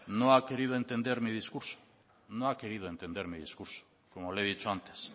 no ha querido entender mi discurso como le he dicho antes